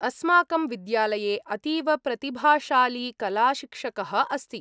अस्माकं विद्यालये अतीव प्रतिभाशाली कलाशिक्षकः अस्ति।